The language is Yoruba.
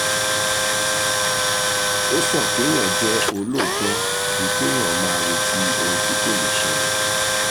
ó sàn kéèyàn jẹ́ olóòótọ́ ju kéèyàn máa retí ohun tí kò lè ṣẹlẹ̀